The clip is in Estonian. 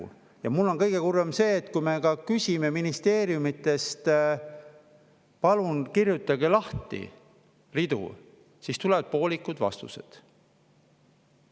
Ja minu arust on kõige kurvem see, et kui me küsime ministeeriumidest: "Palun kirjutage ridu lahti," siis tulevad poolikud vastused.